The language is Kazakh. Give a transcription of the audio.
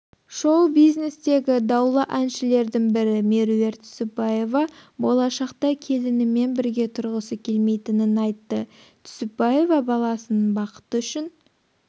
шоу-бизнестегі даулы әншілердің бірі меруерт түсіпбаева болашақта келінімен бірге тұрғысы келмейтінін айтты түсіпбаева баласының бақыты үшін